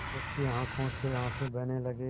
उसकी आँखों से आँसू बहने लगे